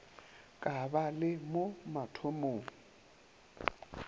ka ba le mo mathomong